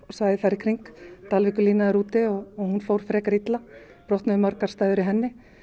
svæðið þar í kring dalvíkurlína er úti og hún fór frekar illa brotnuðu margar stæður í henni